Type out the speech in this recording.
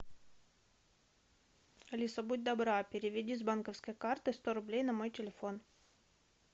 алиса будь добра переведи с банковской карты сто рублей на мой телефон